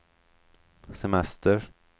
semester